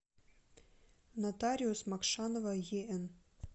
нотариус мокшанова ен